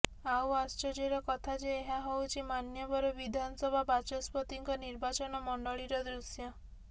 ଆଉ ଆଶ୍ଚର୍ଯ୍ୟର କଥା ଯେ ଏହା ହଉଛି ମାନ୍ୟବର ବିଧାନସଭା ବାଚସ୍ପତିଙ୍କ ନିର୍ବାଚନ ମଣ୍ଡଳୀର ଦୃଶ୍ୟ